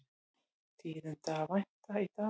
Tíðinda að vænta í dag